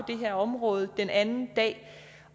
det her område den anden dag